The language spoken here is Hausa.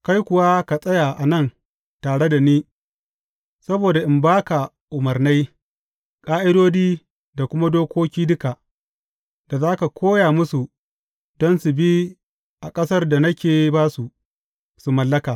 Kai kuwa ka tsaya a nan tare da ni saboda in ba ka umarnai, ƙa’idodi da kuma dokoki duka, da za ka koya musu don su bi a ƙasar da nake ba su, su mallaka.